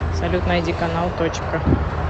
салют найди канал точка